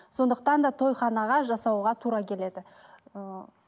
сондықтан да тойханаға жасауға тура келеді ыыы